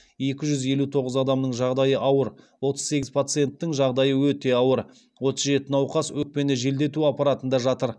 екі жүз елу тоғыз адамның жағдайы ауыр отыз сегіз пациенттің жағдайы өте ауыр отыз жеті науқас өкпені желдету аппаратында жатыр